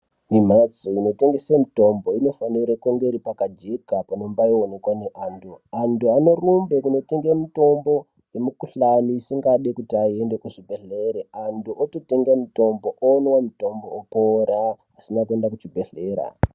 Mumhatso inotengesa mitombo inofanire kunge iri pakajeka panombaionekwa ngeantu antu. Antu anorumbe kunotenge mutombo yemikuhlani isingadi kuti aende kuchibhedhlere. Antu ototenge mutombo omwa mutombo opora asina kuende kuchibhedhlera.